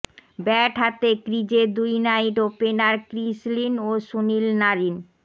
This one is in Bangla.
ব্যাট হাতে ক্রিজে দুই নাইট ওপেনার ক্রিস লিন ও সুনীল নারিন